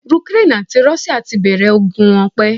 Ukraine àti Russia tí bẹ̀rẹ̀ ogun wọn pẹ́